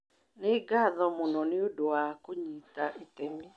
Nĩ ngatho mũno nĩ ũndũ wa kũnyita itemi.